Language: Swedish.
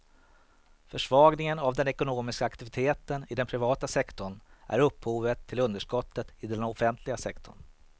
Försvagningen av den ekonomiska aktiviteten i den privata sektorn är upphovet till underskottet i den offentliga sektorn.